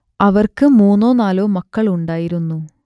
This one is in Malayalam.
അവർക്ക് മൂന്നോ നാലോ മക്കൾ ഉണ്ടായിരുന്നു